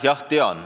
Jah, tean.